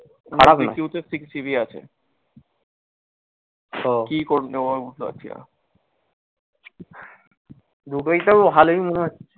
c q তে six GB আছে। কি ফোন নেবো বুঝতে পারছিনা।